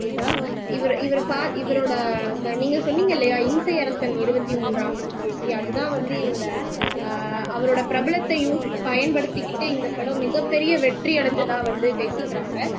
கீதா இவரு இவரு ப இவரோட அந்த நீங்க சொன்னீங்க இல்லையா இம்சை அரசன் இருபத்தி மூன்றாம் புலிகேசி அதுதான் வந்து இவரோட அஹ் அவரோட பிரபலத்தையும் பயன்படுத்திகிட்டு இந்த படம் மிகப்பெரிய வெற்றி அடைஞ்சதா வந்து பேசிக்கிறாங்க